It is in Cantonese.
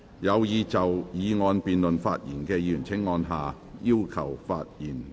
有意就議案辯論發言的議員請按下"要求發言"按鈕。